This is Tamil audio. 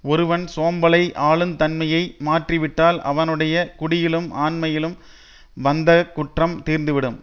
ஒருவன் சோம்பலை ஆளுந் தன்மையை மாற்றிவிட்டால் அவனுடைய குடியிலும் ஆண்மையிலும் வந்தக் குற்றம் தீர்ந்து விடும்